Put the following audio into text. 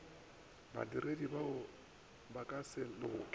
badiredi ba ka se lekole